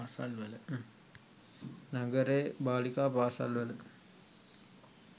නගරයේ බාලිකා පාසල්වල